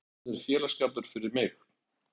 Hann er félagsskapur fyrir mig.